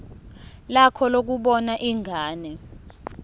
lakho lokubona ingane